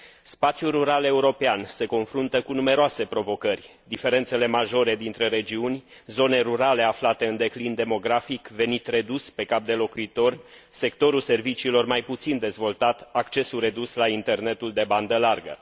Spațiul rural european se confruntă cu numeroase provocări diferențele majore dintre regiuni, zone rurale aflate în declin demografic, venit redus pe cap de locuitor, sectorul serviciilor mai puțin dezvoltat, accesul redus la internetul în bandă largă.